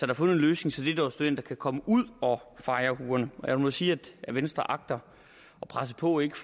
er fundet en løsning så dette års studenter kan komme ud og fejre huerne jeg vil sige at venstre agter at presse på ikke